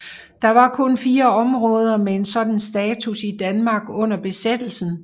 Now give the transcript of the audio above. Der var kun fire områder med en sådan status i Danmark under besættelsen